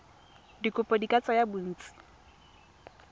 dikopo di ka tsaya bontsi